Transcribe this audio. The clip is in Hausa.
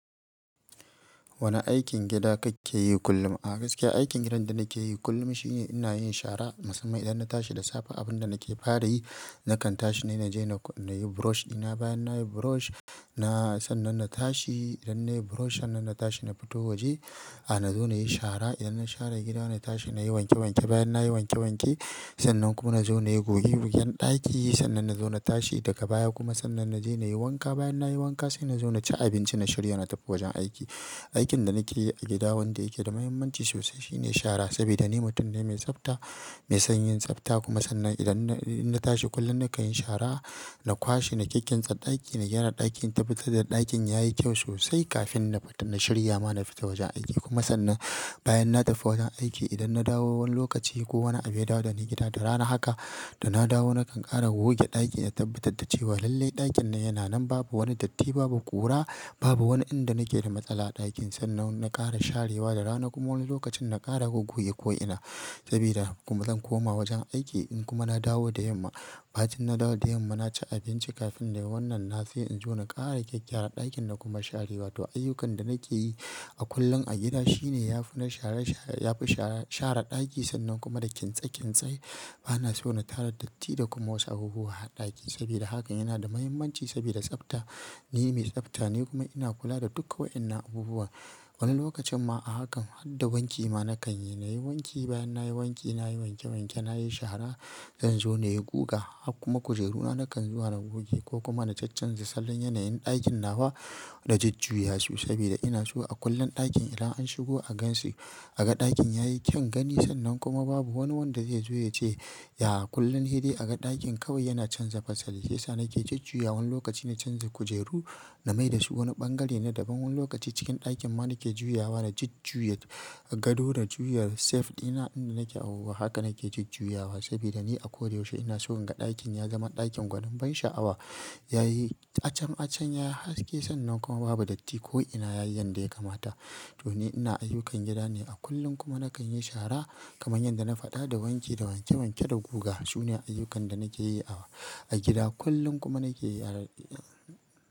Wane aikin gida kake yi kullum? A gaskiya aikin gidan da nake yi kullum shine ina yin shara musamman idan na tashi da sape. Abun da nake fara yi nakan tashi na je na yi burush ɗina bayan na yi burush na sannan na tashi. Idan na yi burush sannan na tashi na fito waje. Na zo na yi shara, idan na share gida na tashi na yi wanke wanke, bayan na yi wanke wanke sannan kuma na zo na yi goge-gogen ɗaki. Sannan na zo na tashi daga baya kuma sannan na je na yi wanka. Bayan na yi wanka sai na zo na ci abinci na shirya na tafi wajen aiki. Aikin da nake yi a gida wanda yake da mahimmanci sosai shine shara. Saboda ni mutum ne mai tsafta, mai son yin tsafta kuma sannan idan na tashi kullum na kan yi shara na kwashe, na kikkimsa ɗaki, na gyara ɗakin tabbatar da ɗakin yayi kyau sosai kafin na shirya ma na fita wajen aiki. Kuma sannan bayan na tafi wajen aiki idan na dawo wani lokaci ko wani abida da ni gida da rana haka. Da na dawo nakan ƙara goge ɗaki na tabbatar da cewa lallai ɗakin yana nan babu wani datti, babu ƙura, babu wani inda nake da matsala a ɗakin. Sannan na ƙara sharewa da rana kuma wani lokacin na ƙara goge ko ina sabida kuma zan koma wajen aiki. In kuma na dawo da yamma, bacin na dawo da yamma na ci abinci kafin na yi wannan na sai in zo na ƙara geg gyara ɗakin na kuma sharewa to ayyukan da nake yi a kullum a gida shine ya fi na share share, ya fi share share ɗaki sannan kuma da kintse kintse. Bana so na tara datti da kuma wasu abubuwa a ɗakin sabida hakan yana da mahimmanci sabida tsafta. Ni mai tsafta ne kuma ina kula da duka wa'yanan abubuwa. Wani lokacin ma a hakan hadda wanki ma na kan yi. Na yi wanki bayan na yi wanki, na yi wanke wanke, na yi shara, zan zo na yi guga hakuma kujeru na nakan zuwa na goge ko kuma na cachanza salon yanayin ɗakin nawa na jujjuyasu saboda ina so a kullum ɗakin idan an shigo agansi aga ɗakin yayi kyan gani. Sannan kuma babu wani wanda zai zo ya ce, ya kullum hede aga ɗakin kawai yana canza fasalin shi ya sa nake jujjuya. Wani lokaci na canza kujeru na mai da su wani ɓangare na daban. Wani lokaci cikin ɗakin ma nake juyawa da jujjuya. Gado da juyar sef ɗina inda nake awowa haka nake jujjuya sabida ni a koda yaushe ina so in ga ɗakin ya zama ɗakin gwanin ban sha'awa. Yayi acen acen ya haske sannan kuma babu datti ko ina yayi yanda ya kamata. To ni ina ayyukan gida ne a kullum kuma na kan yi shara kamar yadda na faɗa da wanki, da wanke wanke, da guga. Su ne ayyukan da nake yi a gida kullum kuma nake yi a.